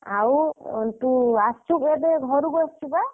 ଆଉ ଅ ତୁ ଆସିଚୁ କେବେ ଘରକୁ ଆସିଚୁ ବା?